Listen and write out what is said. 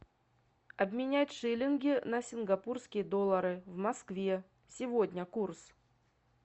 обменять шиллинги на сингапурские доллары в москве сегодня курс